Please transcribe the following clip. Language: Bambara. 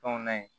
Fɛnw na yen